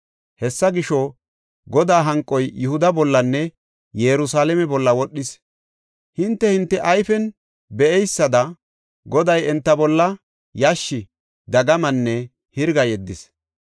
Hessa gisho, Godaa hanqoy Yihuda bollanne Yerusalaame bolla wodhis. Hinte, hinte ayfen be7eysada Goday enta bolla yashshi, dagamanne hirga yeddis.